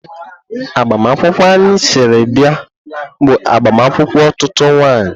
Agbamakwụkwọ anyị siri bịa bụ agbamakwụkwọ otutu nwanyị.